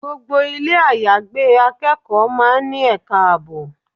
Gbogbo ilé àyágbé akẹ́kọ̀ọ́ máa ń ní ẹ̀ka ààbò.